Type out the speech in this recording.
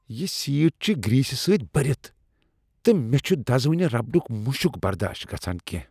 یہ سیٹ چھ گریٖسہٕ سۭتۍ بٔرتھ تہٕ مےٚ چُھ دزوٕنہ ربڑک مشک برداش گژھان کینٛہہ۔